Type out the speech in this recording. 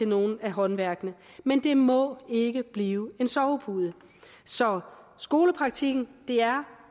nogle af håndværksfagene men det må ikke blive en sovepude så skolepraktikken er